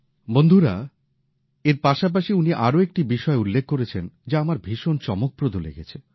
বন্ধুরা এর পাশাপাশি উনি আরও একটি বিষয় উল্লেখ করেছেন যা আমার ভীষণ চমকপ্রদ মনে হয়েছে